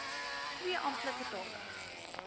twee amptelike tale